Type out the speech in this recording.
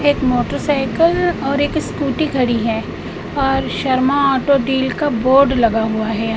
एक मोटरसाइकिल और एक स्कूटी खड़ी है और शर्मा ऑटो डील का बोर्ड लगा हुआ है यहाँ।